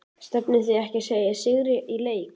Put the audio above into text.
Stefnið þið ekki að sigri í leiknum?